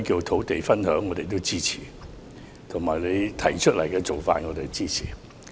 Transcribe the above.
土地分享我們也支持，而你為此目的而提出的做法，我們亦支持。